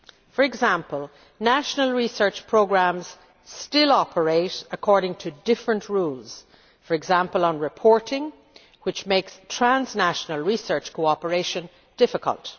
For example, national research programmes still operate according to different rules, for example on reporting, which makes transnational research cooperation difficult.